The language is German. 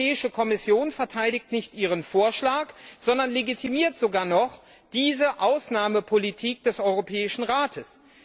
Die Europäische Kommission verteidigt nicht ihren Vorschlag, sondern legitimiert sogar noch diese Ausnahmepolitik des Europäischen Rates.